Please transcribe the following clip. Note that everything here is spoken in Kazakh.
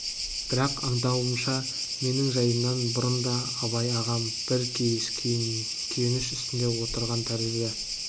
бірақ аңдауымша менің жайымнан бұрын да абай ағам бір кейіс күйініш үстінде отырған тәрізді